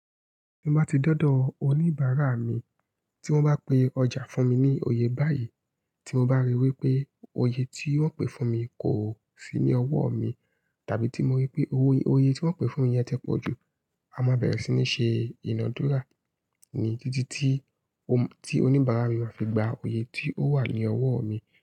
Tí mo bá ti dọ́dọ̀ oníbàárà mi tí wọ́n bá pe ọjà fún mi ní oye báyìí, tí mo bá rí i wí pé oye tí wọ́n pè fún mi kò sí ní ọwọ́ mi, tàbí tí mo rí pé oye tí wọ́n pè fún mi yẹn ti pọ̀jù, a máa bẹ̀rẹ̀ sí ní ṣe ìnádúrà ni títí tí oníbàárà mi máa fi gba oye tí ó wà ní ọwọ́ mi.